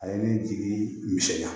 A ye ne jigi misɛnya